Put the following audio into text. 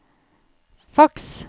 faks